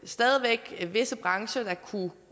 stadig væk var visse brancher der kunne